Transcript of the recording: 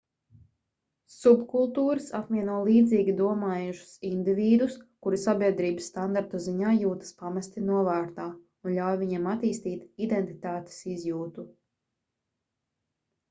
subkultūras apvieno līdzīgi domājošus indivīdus kuri sabiedrības standartu ziņā jūtas pamesti novārtā un ļauj viņiem attīstīt identitātes izjūtu